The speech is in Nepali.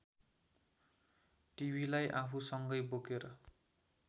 टिभिलाई आफूसङ्गै बोकेर